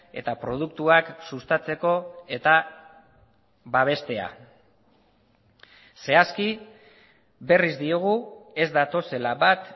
eta produktuak sustatzeko eta babestea zehazki berriz diogu ez datozela bat